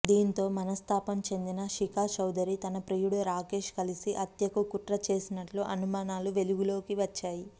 దీంతో మనస్తాపం చెందిన శిఖా చౌదరి తన ప్రియుడు రాకేష్ కలిసి హత్యకు కుట్ర చేసినట్లు అనుమానాలు వెలుగులోకి వచ్చాయి